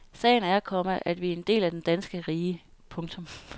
Sagen er, komma at vi er en del af det danske rige. punktum